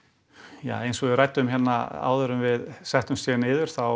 ja eins og við ræddum hérna áður en við settumst niður þá